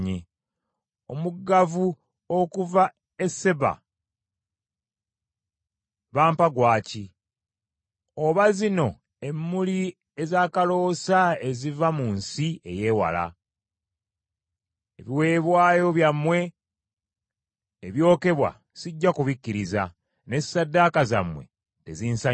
Omugavu oguva e Seeba bampa gwa ki? Oba zino emmuli ezakaloosa eziva mu nsi ey’ewala? Ebiweebwayo byammwe ebyokebwa sijja kubikkiriza, n’essaddaaka zammwe tezinsanyusa.”